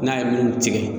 N'a ye nun tigɛ